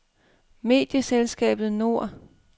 Medieselskabet Nord